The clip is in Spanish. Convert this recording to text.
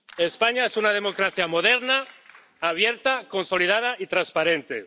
España es una democracia moderna, abierta, consolidada y transparente.